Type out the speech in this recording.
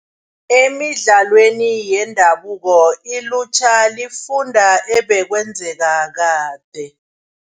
Emidlalweni yendabuko ilutjha lifunda ebekwenzeka kade.